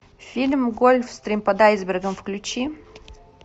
фильм гольфстрим под айсбергом включи